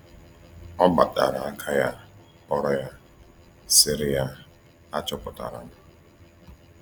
“Ọ gbatara aka ya kpọrọ ya, sịrị ya: ‘Achọpụtara m.’”